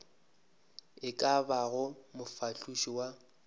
e ka bago mofahloši wa